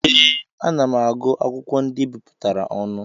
Ee, ana m agụ akwụkwọ ndị ebipụtara ọnụ.